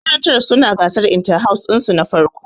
Makarantar su na gasar inta-house ɗin su na farko